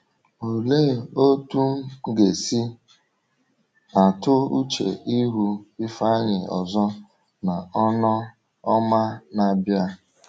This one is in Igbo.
“Olee otú m ga-esi atụ uche ịhụ Ifeanyi ọzọ n’Ọnụ Ọma na-abịa!”